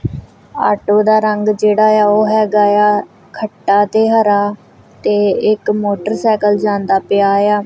Auto ਦਾ ਰੰਗ ਜੇਹੜਾ ਯਾ ਓਹ ਹੈਗਾ ਯਾ ਖੱਟਾ ਤੇ ਹਰਾ ਤੇ ਇੱਕ ਮੋਟਰਸਾਈਕਲ ਜਾਂਦਾ ਪਿਆ ਯਾ।